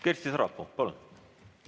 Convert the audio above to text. Kersti Sarapuu, palun!